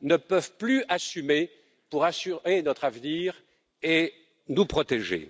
ne peuvent plus assumer au plan national pour assurer notre avenir et nous protéger.